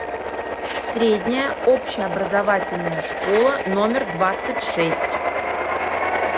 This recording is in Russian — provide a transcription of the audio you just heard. средняя общеобразовательная школа номер двадцать шесть